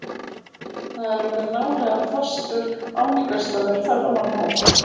Þar er orðinn nálega fastur áningarstaður ferðamannahópa.